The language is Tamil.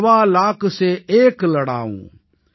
ஸவா லாக் ஸே ஏக் லடாஊம்